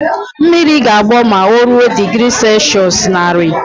Mmiri ga-agbọ ma o ruo digri selshụs naari